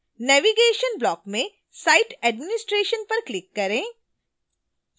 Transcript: navigation block में site administration पर click करें